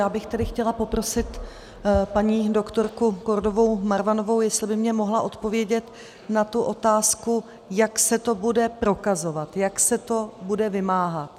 Já bych tedy chtěla poprosit paní doktorku Kordovou Marvanovou, jestli by mi mohla odpovědět na tu otázku, jak se to bude prokazovat, jak se to bude vymáhat.